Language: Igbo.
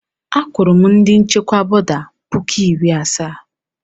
Akwụru m ndị nchịkwa bọda puku iri asaa.